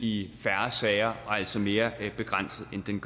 i færre sager og altså mere begrænset end den